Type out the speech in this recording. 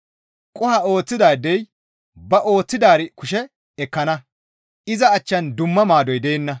Qoho ooththidaadey ba ooththidaari kushe ekkana; iza achchan dumma maadoy deenna.